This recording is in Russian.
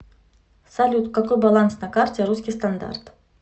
салют какой баланс на карте русский стандарт